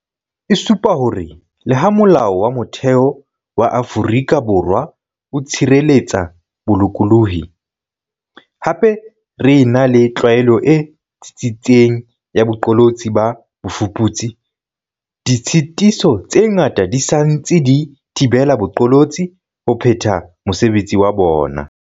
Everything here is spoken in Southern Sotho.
E supa hore le ha Molao wa Motheo wa Afrika Borwa o tshireletsa bolokolohi, hape re ena le tlwaelo e tsitsitseng ya boqolotsi ba bofuputsi, ditshitiso tse ngata di sa ntse di thibela baqolotsi ho phetha mosebetsi wa bona.